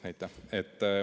Jah, aitäh!